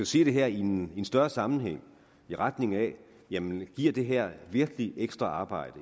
se det her i en større sammenhæng i retning af jamen giver det her virkelig ekstra arbejde